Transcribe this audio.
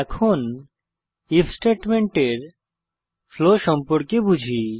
এখান আইএফ স্টেটমেন্টের ফ্লো সম্পর্কে বুঝি